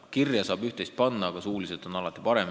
Kirja saab üht-teist panna, aga suuliselt on alati parem.